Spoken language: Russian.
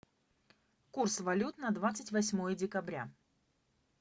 курс валют на двадцать восьмое декабря